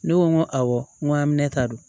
Ne ko n ko awɔ n ko aminɛ ta don